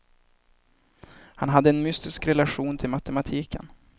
Han hade en mystisk relation till matematiken.